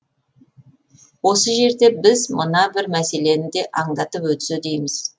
осы жерде біз мына бір мәселені де аңдатып өтсе дейміз